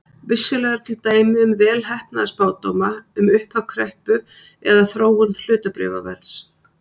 Vissulega eru til dæmi um vel heppnaða spádóma um upphaf kreppu eða þróun hlutabréfaverðs.